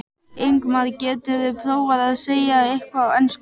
Ingimar: Geturðu prófað að segja eitthvað á ensku?